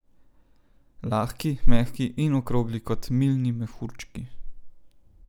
Lahki, mehki in okrogli kot milni mehurčki.